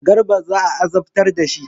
Garba za a azabtar da shi.